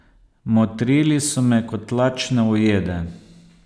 Motrili so me kot lačne ujede.